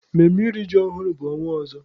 Mmemme iri ji ọhụrụ bụ ọnwa ọzọ.